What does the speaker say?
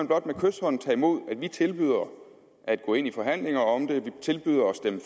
blot med kyshånd tage imod at vi tilbyder at gå ind i forhandlinger om det